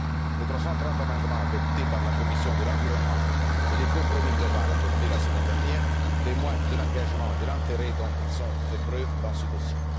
Les 330 amendements adoptés par la commission de l'environnement et le compromis global adopté la semaine dernière témoignent de l'engagement et de l'intérêt dont ils ont fait preuve dans ce dossier.